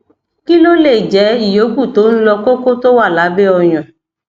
kí ló lè jẹ ìyókù tó ń lọ koko tó wà lábẹ oyan